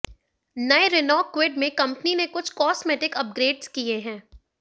नये Renault Kwid में company ने कुछ कॉस्मेटिक अपग्रेड्स किये हैं